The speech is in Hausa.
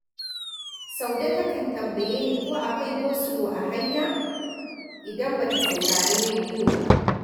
Saude takan tambaye ni ko akwai gosulo a hanya, idan ba ta saurari rediyo ba